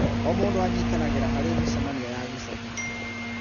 O mũndũ anyitanagĩra harĩ mĩcemanio ya gĩcagi